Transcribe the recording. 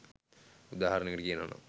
උදාහරණයකට කියනවනම්